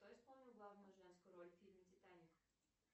кто исполнил главную женскую роль в фильме титаник